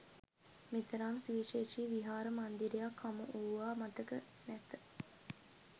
මෙතරම් සුවිශේෂී විහාර මන්දිරයක් හමු වූවා මතක නැත.